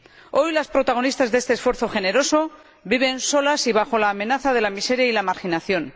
Hoy las protagonistas de este esfuerzo generoso viven solas y bajo la amenaza de la miseria y la marginación.